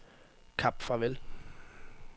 Kap Farvel